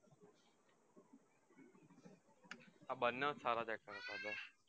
આ બંને સારા actor છે